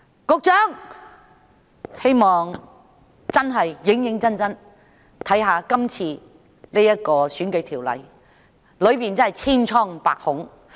我希望局長會認真審視現時的選舉法例，當中真是千瘡百孔。